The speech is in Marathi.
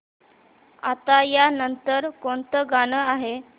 आता या नंतर कोणतं गाणं आहे